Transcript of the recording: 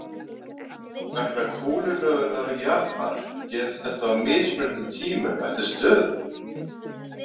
Vegna kúlulögunar jarðar gerist þetta á mismunandi tímum eftir stöðum.